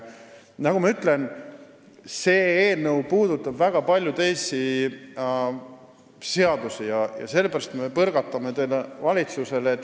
Nagu ma ütlesin, see eelnõu puudutab väga palju teisi seadusi ja sellepärast me põrgatame selle valitsusele.